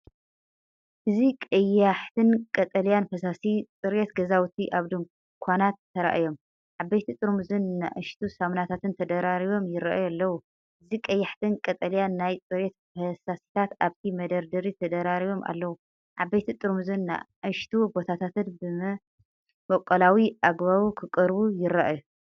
እዚ ቀያሕትን ቀጠልያን ፈሳሲ ጽሬት ገዛውቲ ኣብ ድኳናት ተራእዮም። ዓበይቲ ጥርሙዝን ንኣሽቱ ሳሙናታትን ተደራሪቦም ይራኣዩ ኣለው። እዚ ቀያሕትን ቀጠልያን ናይ ጽሬት ፈሳሲታት ኣብቲ መደርደሪ ተደራሪቦም ኣለዉ፤ ዓበይቲ ጥርሙዝን ንኣሽቱ ቦታታትን ብመበቆላዊ ኣገባብ ክቀርቡ ይራኣዩ።